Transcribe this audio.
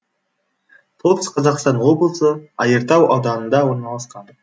солтүстік қазақстан облысы айыртау ауданында орналасқан